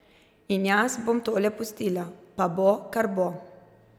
In jaz bom tole pustila, pa bo, kar bo.